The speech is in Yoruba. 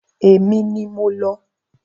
Èmi ni mo lọ.